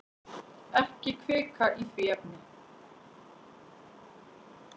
Ekki hvika í því efni.